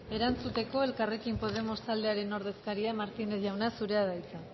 erantzuteko elkarrekin podemos taldearen ordezkaria martínez jauna zurea da hitza